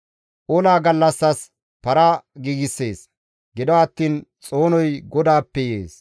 Ola gallassas para giigssees; gido attiin xoonoy GODAAPPE yees.